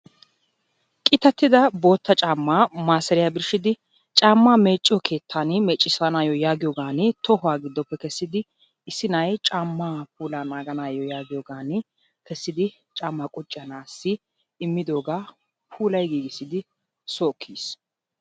Qitattida bootta caammaa maasariya birshshidi caammaa meecciyo keettaa meecissanaayyo yaagiyogan tohuwa giddoppe kessidi issi na'ay caammaa puulaa naaganaayyo yaagiyogan kessidi caammaa qucciya na'aassi immidoogaa puulayi giigissisi soo ekki yiis.